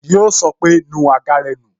Yo sọ pé "nu àga rẹ nù"